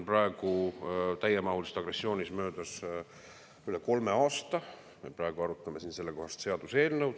Praegu on täiemahulise agressiooni möödas üle kolme aasta ja me arutame siin sellekohast seaduseelnõu.